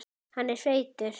Hann er feitur.